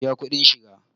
Ka biya kuɗin shiga!